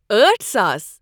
أٹھ ساس